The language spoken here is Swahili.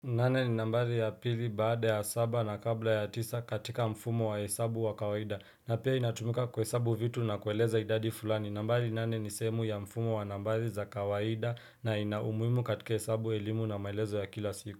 Nane ni nambari ya pili baada ya saba na kabla ya tisa katika mfumo wa hesabu wa kawaida na pia inatumuka kwa hesabu vitu na kueleza idadi fulani nambari nane ni sehemu ya mfumo wa nambari za kawaida na inaumuimu katika hesabu elimu na maelezo ya kila siku.